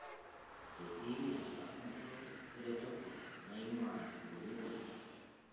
Etii enchulakinoto eretoto naing'uaa nkituoni olkijiji.